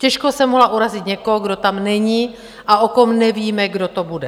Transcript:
Těžko jsem mohla urazit někoho, kdo tam není a o kom nevíme, kdo to bude.